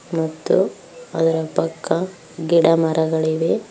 ಮತ್ತು ಅದರ ಪಕ್ಕ ಗಿಡ ಮರಗಳಿವೆ.